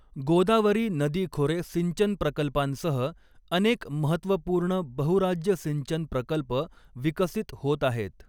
गोदावरी नदी खोरे सिंचन प्रकल्पांसह अनेक महत्त्वपूर्ण बहुराज्य सिंचन प्रकल्प विकसित होत आहेत.